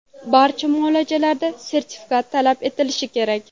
Barcha muolajalarda sertifikat talab etilishi kerak.